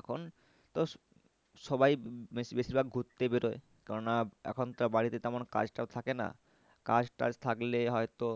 এখন তো সবাই বেশি, বেশিরভাগ ঘুরতে বেরোয় কেন না এখন তো বাড়িতে তেমন কাজটাও থাকে না কাজ টাজ থাকলে হয়তো